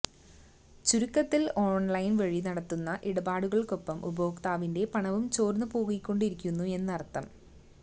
ചുരുക്കത്തില് ഓണ്ലൈന് വഴി നടത്തുന്ന ഇടാപാടുകള്ക്കൊപ്പം ഉപഭോക്താവിന്റെ പണവും ചോര്ന്നു പോയിക്കൊണ്ടിരിക്കുമെന്നര്ത്ഥം